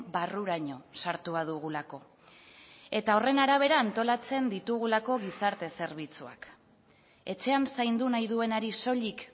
barruraino sartua dugulako eta horren arabera antolatzen ditugulako gizarte zerbitzuak etxean zaindu nahi duenari soilik